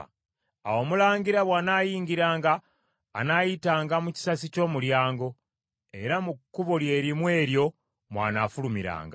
Awo omulangira bw’anaayingiranga, anaayitanga mu kisasi ky’omulyango, era mu kkubo lye limu eryo mw’anaafulumiranga.